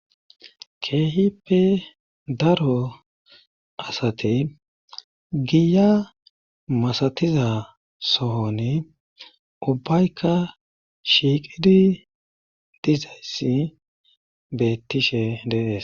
keehippe daro asate giya masatiza sooni ubbaykka shiiqidi dizayssi bettishe dees